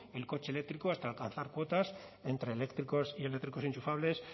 el coche eléctrico hasta alcanzar cuotas entre eléctricos y eléctricos enchufables